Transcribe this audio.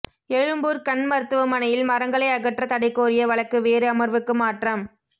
எழும்பூா் கண் மருத்துவமனையில் மரங்களை அகற்ற தடை கோரிய வழக்கு வேறு அமா்வுக்கு மாற்றம்